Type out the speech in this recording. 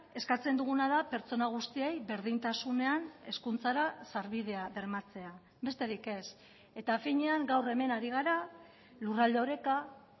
eskatzen duguna da pertsona guztiei berdintasunean hezkuntzara sarbidea bermatzea besterik ez eta finean gaur hemen ari gara lurralde oreka